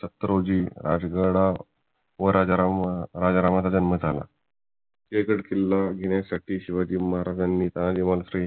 सत्तर रोजी राजगडावर राजाराम यांचा जन्म झाला सिंहगड किल्ला घेण्यासाठी शिवाजी महाराजांनी तानाजी मालुसरे